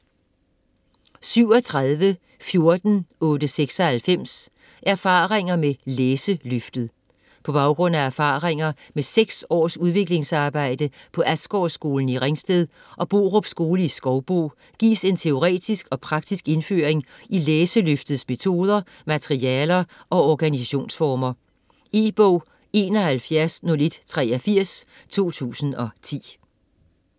37.14896 Erfaringer med Læseløftet På baggrund af erfaringer med 6 års udviklingsarbejde på Asgårdsskolen i Ringsted og Borup Skole i Skovbo gives en teoretisk og praktisk indføring i Læseløftets metoder, materialer og organisationsformer. E-bog 710183 2010.